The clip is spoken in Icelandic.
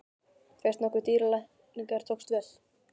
Fékkst nokkuð við dýralækningar og tókst vel.